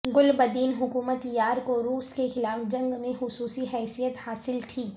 گل بدین Hekmatyar کو روس کے خلاف جنگ میں حصوصی حیثیت حاصل تھی